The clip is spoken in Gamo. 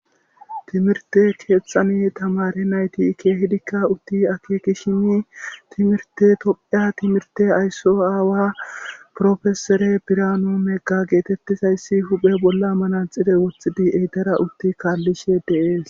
timirte keeththani tamare nayti keehidikka utti akekishini timirte topheya timirte aysso aawa profesore birano negga geetettizayssi huphe bolla mana xire woththidi etara utti kaallishe dees